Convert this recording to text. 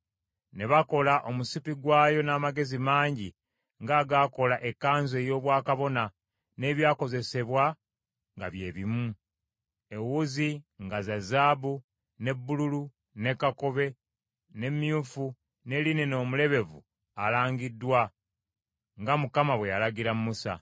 Ne bakola omusipi gwayo n’amagezi mangi ng’agaakola ekkanzu ey’obwakabona, n’ebyakozesebwa nga bye bimu. Ewuzi nga za zaabu, ne bbululu, ne kakobe, ne myufu, ne linena omulebevu alangiddwa; nga Mukama bwe yalagira Musa.